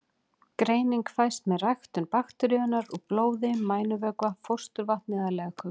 Greining fæst með ræktun bakteríunnar úr blóði, mænuvökva, fósturvatni eða legköku.